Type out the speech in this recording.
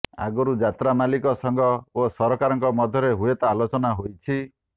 ଆଗରୁ ଯାତ୍ରା ମାଲିକ ସଂଘ ଓ ସରକାରଙ୍କ ମଧ୍ୟରେ ହୁଏତ ଆଲୋଚନା ହୋଇଛି